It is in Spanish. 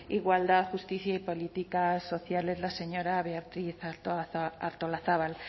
igualdad justicia y políticas sociales la señora beatriz artolazabal